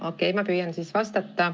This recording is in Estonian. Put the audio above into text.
Okei, ma püüan siis vastata.